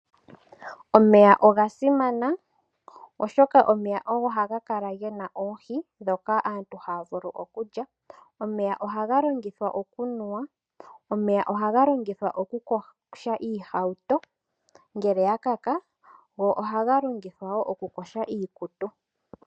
Omeya oga simana oshoka omeya ogo haga kala gena oohi dhoka aantu haya vulu okulya, omeya ohaga longithwa oku nuwa, omeya ohaga longithwa oku yoga oohauto ngele dha kaka, go ohaga longithwa wo oku yoga iikutu.